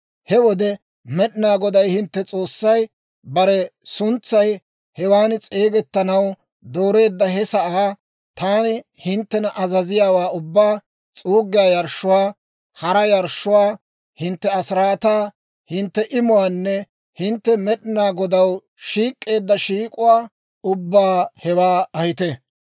He wode Med'inaa Goday hintte S'oossay bare suntsay hewan s'eegettanaw dooreedda he sa'aa, taani hinttena azaziyaawaa ubbaa, s'uuggiyaa yarshshuwaa, hara yarshshuwaa, hintte asiraataa, hintte imuwaanne hintte Med'inaa Godaw shiik'k'eeddawaa ubbaa hewoo ahiita.